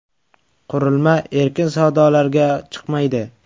Qurilma erkin savdolarga chiqmaydi.